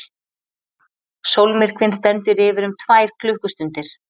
Sólmyrkvinn stendur yfir um tvær klukkustundir.